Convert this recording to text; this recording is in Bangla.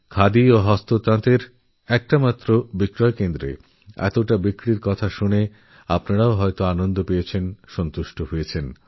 খাদিআর হ্যান্ডলুমের একটা মাত্র স্টোরে এত বেশি বিক্রি হওয়া এটা শুনে আপনাদেরওনিশ্চয়ই আনন্দ হয়েছে সন্তুষ্টি হয়েছে